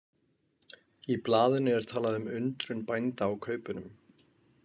Í blaðinu er talað um undrun bænda á kaupunum.